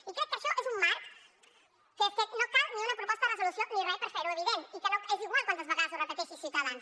i crec que això és un marc que és que no cal ni una proposta de resolució ni res per fer ho evident i que és igual quantes vegades ho repeteixi ciutadans